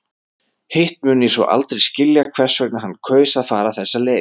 Hitt mun ég svo aldrei skilja hvers vegna hann kaus að fara þessa leið.